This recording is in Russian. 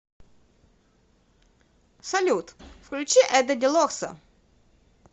салют включи эдда делорсо